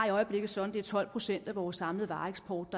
i øjeblikket sådan at tolv procent af vores samlede vareeksport